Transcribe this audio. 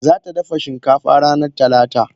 Zata dafa shinkafa ranar talata.